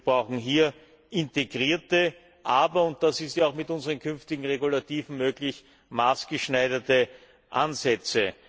Wir brauchen hier integrierte, aber und das ist mit unseren künftigen Regulativen möglich maßgeschneiderte Ansätze.